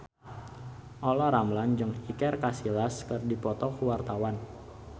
Olla Ramlan jeung Iker Casillas keur dipoto ku wartawan